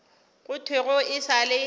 go thwego e sa le